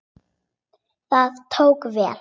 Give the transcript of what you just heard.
Það tókst vel.